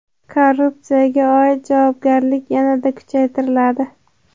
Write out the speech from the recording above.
Korrupsiyaga oid javobgarlik yanada kuchaytiriladi.